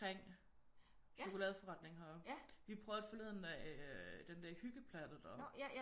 Kring cholokadeforretningen her. Vi prøvede forleden øh den der hyggeplatte deroppe